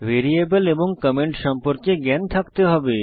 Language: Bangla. ভ্যারিয়েবল এবং কমেন্ট সম্পর্কে জ্ঞান থাকতে হবে